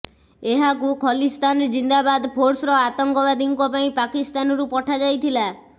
ଏହାକୁ ଖଲିସ୍ତାନ୍ ଜିନ୍ଦାବାଦ ଫୋର୍ସର ଆତଙ୍କବାଦୀଙ୍କ ପାଇଁ ପାକିସ୍ତାନରୁ ପଠାଯାଇଥିଲା